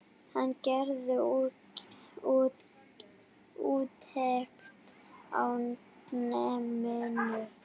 Hann gerði úttekt á náminu.